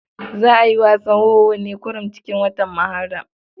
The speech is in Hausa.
Za a yi wasan wowo ne kurum cikin watan Muharram.